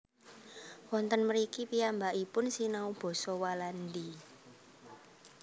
Wonten mriki piyambakipun sinau basa Walandi